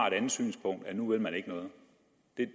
et andet synspunkt at nu vil man ikke noget